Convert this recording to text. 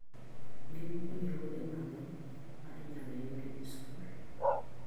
Gin puojruoge mage ma inyalo yudi e skul?